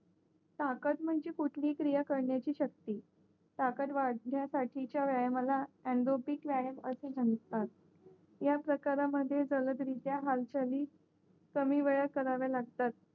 ताकत म्हणजे कुठली क्रिया करण्याची शक्ती टाकत व्हाडण्यासाठीच्या व्यायामाला अनरोगीक व्यायाम असे म्हणतात या प्रकार मध्ये सर्व रित्या हालचाल हि कमी वयात कराव्या लागतात